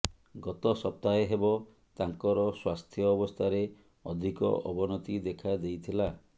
ଗତ ସପ୍ତାହେ ହେବ ତାଙ୍କର ସ୍ୱାସ୍ଥ୍ୟ ଅବସ୍ଥାରେ ଅଧିକ ଅବନତି ଦେଖା ଦେଇଥିଲା